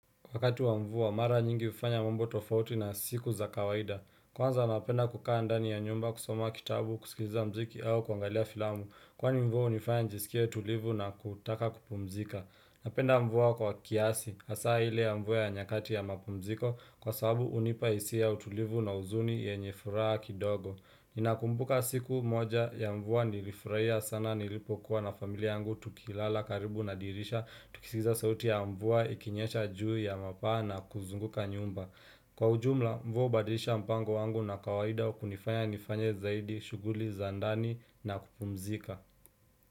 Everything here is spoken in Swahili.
Wakati wa mvu wa mara nyingi hufanya mambo tofauti na siku za kawaida Kwanza napenda kukaa andani ya nyumba kusoma kitabu kusikiza mziki au kuangalia filamu Kwani mvua unifanya nijisikie tulivu na kutaka kupumzika Napenda mvua kwa kiasi, asaa ile ya mvu ya nyakati ya mapumziko Kwa sababu unipaisia ya utulivu na uzuni yenyefuraa kidogo Ninakumbuka siku moja ya mvu wa nilifuraia sana nilipokuwa na familia yangu Tukilala karibu na dirisha, tukisikiliza sauti ya mvua, ikinyasha juu ya mapaa na kuzunguka nyumba Kwa ujumla, mvua hubadilisha mpango wangu na kawaida kunifanya nifanya zaidi, shughuli, za ndani na kupumzika.